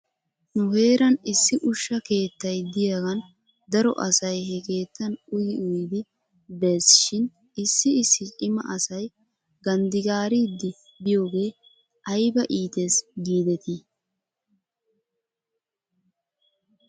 Nu heeran issi ushsha keettay de'iyaagan daro asay he keettan uyi uyidi bes shin issi issi cima asay ganddigaariiddi biyoogee ayba iitees giidetii?